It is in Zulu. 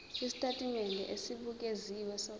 isitatimende esibukeziwe sohlelo